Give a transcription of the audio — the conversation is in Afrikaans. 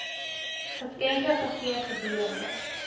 geskenke gegee gedurende